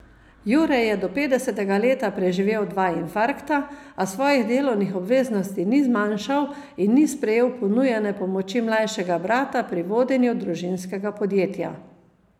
Jure je do petdesetega leta preživel dva infarkta, a svojih delovnih obveznosti ni zmanjšal in ni sprejel ponujene pomoči mlajšega brata pri vodenju družinskega podjetja.